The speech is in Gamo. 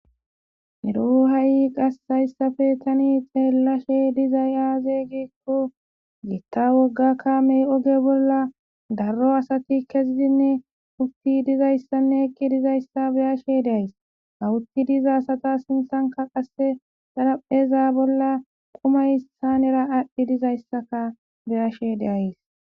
eroo ha7i qassayssafe tani xheellashe dizay aaze giekko gitta wogga kamey oge bolla darro asati kezidinne ufti dizayssanne ekki dizayssa biyashe deays hawutti diza sata sinthanka qasse xarapheza bolla qumaysanera aadhdhi dizayssaka biyashe deays